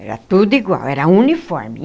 Era tudo igual, era uniforme.